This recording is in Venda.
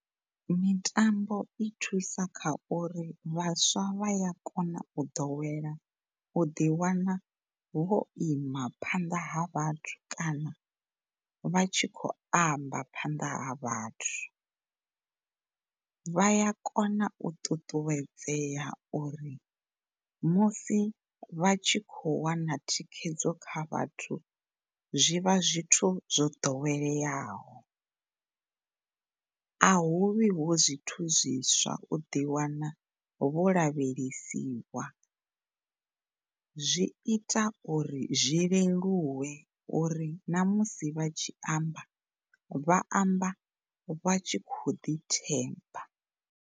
Mitambo i thusa kha uri vhaswa vha ya kona u ḓowela, u ḓiwana vho ima phanḓa ha vhathu kana vhatshi khou amba phanḓa ha vhathu. Vha ya kona u ṱuṱuwedza uri musi vha tshi khou wana thikhedzo kha vhathu zwivha zwithu zwo ḓoweleaho, a huvhi hu zwithu zwiswa u ḓiwana vho lavhelesiwa zwi ita uri zwi leluwe uri ṋamusi vha tshi amba, vha amba vha tshi khou ḓi themba.